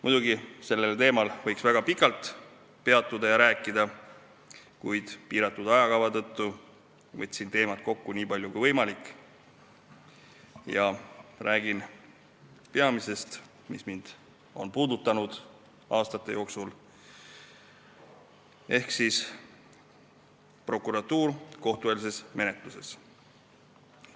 Muidugi, sellel teemal võiks väga pikalt peatuda ja rääkida, kuid piiratud aja tõttu võtsin teemat kokku nii palju kui võimalik ja räägin peamisest, mis mind on aastate jooksul puudutanud, ehk prokuratuuri rollist kohtueelses menetluses.